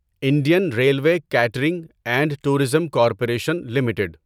Indian railway catering and tourism corporation limited